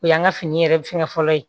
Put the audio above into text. O y'an ka fini yɛrɛ fɛngɛ fɔlɔ ye